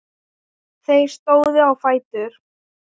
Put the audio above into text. Þeir stóðu á fætur.